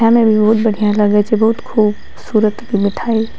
खाए में भी बहुत बढ़िया लगै छे बहुत खूब-सूरत ई मिठाई --